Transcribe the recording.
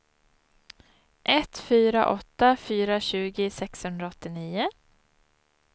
ett fyra åtta fyra tjugo sexhundraåttionio